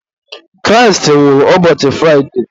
Kraịst nwụrụ ụbọchị Fraide